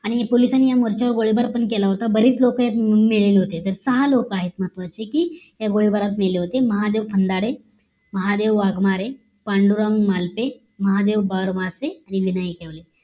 आणि पोलिसांनी या मोर्च्या वर गोळीबार पण केला होता बरीच लोक यात मेलेली होते तर सहा लोक आहेत महत्वाची कि या गोळीबारात मेले होते महादेव फंदाडे, महादेव वाघमारे, पांडुराव मालते, महादेव बडमासें, आणि विनायक येवले